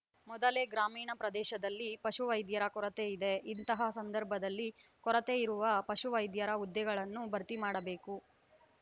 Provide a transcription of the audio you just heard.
ಮೊದಲೇ ಗ್ರಾಮೀಣ ಪ್ರದೇಶದಲ್ಲಿ ಪಶು ವೈದ್ಯರ ಕೊರತೆಯಿದೆ ಇಂತಹ ಸಂದರ್ಭದಲ್ಲಿ ಕೊರೆತೆಯಿರುವ ಪಶುವೈದ್ಯರ ಹುದ್ದೆಗಳನ್ನು ಭರ್ತಿ ಮಾಡಬೇಕು